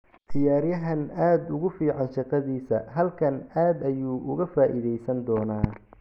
“Ciyaaryahan aad ugu fiican shaqadiisa, halkan aad ayuu uga faa’iidaysan doonaa”.